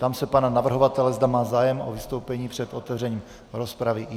Ptám se pana navrhovatele, zda má zájem o vystoupení před otevřením rozpravy.